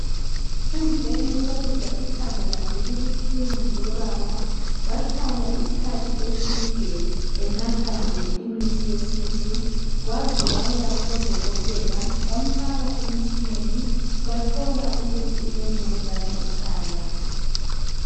Emveni okokuzwa ikhanda lakhe libuhlungu lobaba wahlala wahlala isikhathi eside enathavimithi yesintu Waze waya kubodokotela bamfaka byathola ukuthi ulemvukun